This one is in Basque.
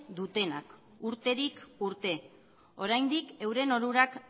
dutenak urterik urte oraindik euren onurak